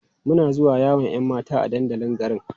Muna zuwa yawon 'yan mata a dandalin garin.